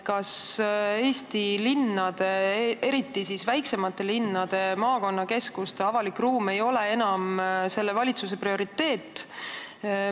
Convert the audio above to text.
Kas Eesti linnade, eriti siis väiksemate linnade, maakonnakeskuste avalik ruum ei ole enam selle valitsuse prioriteet?